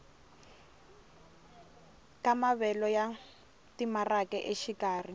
ka maavelo ya timaraka exikarhi